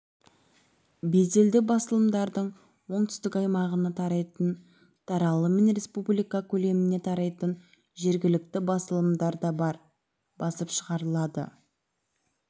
беделді басылымдардың оңтүстік аймағына тарайтын таралым мен республика көлеміне тарайтын жергілікті басылымдар да басып шығарылады